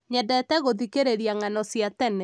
nyendete gũthikĩrĩria ng'ano cia tene